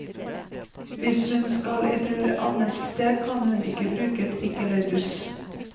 Hvis hun skal et annet sted, kan hun ikke bruke trikk elle buss.